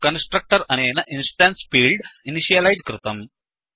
constructor अनेन instance field initialise कृतम्